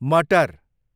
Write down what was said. मटर